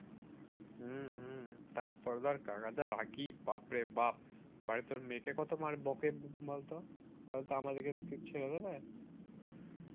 হম তারপর ধর কাকা যা রাগি বাপরে বাপ মানে তার মেয়েকে কত মারে বকে বলতো তাহলে তো আমাদেরকে কি ছেড়ে দেবে